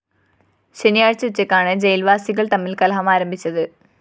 ശനിയാഴ്ച ഉച്ചയ്ക്കാണ് ജയില്‍വാസികള്‍ തമ്മില്‍ കലഹമാരംഭിച്ചത്